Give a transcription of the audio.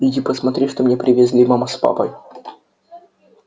иди посмотри что мне привезли мама с папой